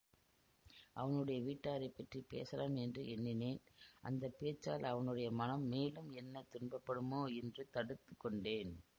அவனுடைய வீட்டாரைப் பற்றி பேசலாம் என்று எண்ணினேன் அந்த பேச்சால் அவனுடைய மனம் மேலும் என்ன துன்பப்படுமோ என்று தடுத்து கொண்டேன்